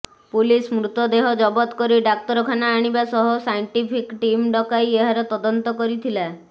police ମୃତଦେହ ଜବତ କରି ଡାକ୍ତରଖାନା ଆଣିବା ସହ ସାଇଣ୍ଟିଫିକ୍ ଟିମ ଡକାଇ ଏହାର ତଦନ୍ତ କରିଥିଲା